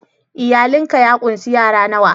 Iyalin ka ya kunsi yara nawa??